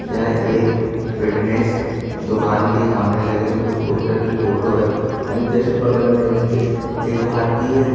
यह एक फिटनेस दुकान के सामने लगे हुए पोस्टर की फोटो हैं एन्ड जस्ट बगल में इसके एक भारतीय--